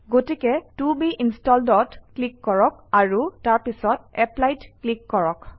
গতিকে ত বে Installed অত ক্লিক কৰক আৰু তাৰপিছত Apply ত ক্লিক কৰক